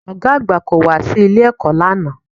Ọ̀gá àgbà kò wá sí ilé-ẹ̀kọ́ lánàá